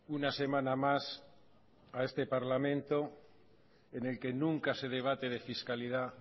una semana más a este parlamento en el que nunca se debate de fiscalidad